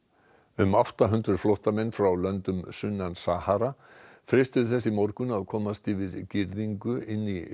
um átta hundruð flóttamenn frá löndum sunnan Sahara freistuðu þess í morgun að komast yfir girðingu inn í